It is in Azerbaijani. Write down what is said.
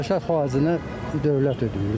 Həşər faizini dövlət ödəyir də.